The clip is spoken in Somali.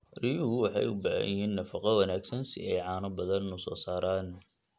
Riyuhu waxay u baahan yihiin nafaqo wanaagsan si ay caano badan u soo saaraan.